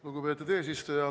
Lugupeetud eesistuja!